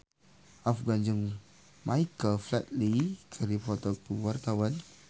Afgan jeung Michael Flatley keur dipoto ku wartawan